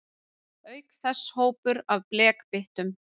Auk þess hópur af blekbyttum.